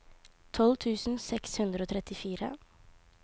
tolv tusen seks hundre og trettifire